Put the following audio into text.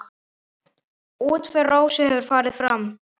Útför Rósu hefur farið fram.